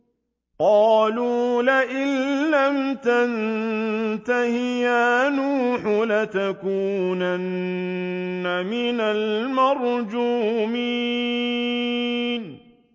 قَالُوا لَئِن لَّمْ تَنتَهِ يَا نُوحُ لَتَكُونَنَّ مِنَ الْمَرْجُومِينَ